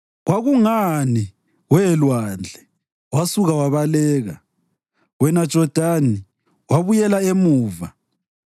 Kwakungani, we lwandle, wasuka wabaleka? Wena Jodani wabuyela emuva?